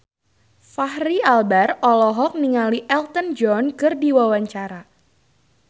Fachri Albar olohok ningali Elton John keur diwawancara